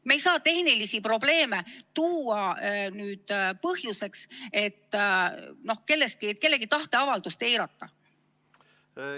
Me ei saa tehnilisi probleeme tuua põhjuseks, et kellegi tahteavaldust eiratakse.